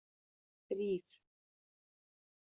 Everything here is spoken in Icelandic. þrír